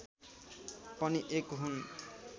पनि एक हुन्